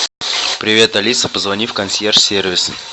привет алиса позвони в консьерж сервис